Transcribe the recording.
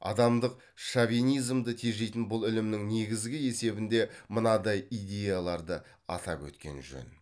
адамдық шовинизмді тежейтін бұл ілімнің негізі есебінде мынадай идеяларды атап өткен жөн